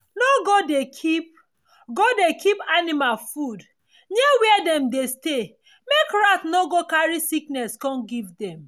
no go dey keep go dey keep animal food near where dem dey stay make rat no go carry sickness come give dem